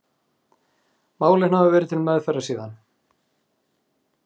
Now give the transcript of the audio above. Málin hafa verið til meðferðar síðan